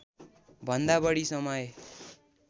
भन्दा बढी समय